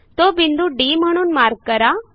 तो बिंदू डी म्हणून मार्क करा